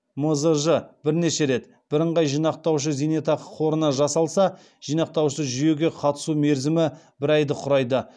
мзж бірнеше рет бірыңғай жинақтаушы зейнетақы қорына жасалса жинақтаушы жүйеге қатысу мерзімі бір айды құрайды